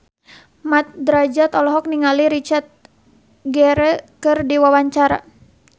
Mat Drajat olohok ningali Richard Gere keur diwawancara